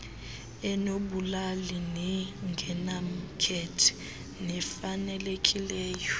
enobulali nengenamkhethe nefanelekileyo